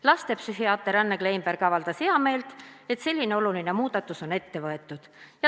Lastepsühhiaater Anne Kleinberg avaldas heameelt, et selline oluline muudatus on ette võetud.